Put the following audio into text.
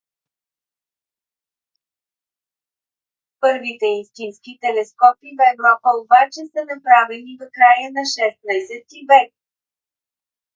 първите истински телескопи в европа обаче са направени в края на 16-ти век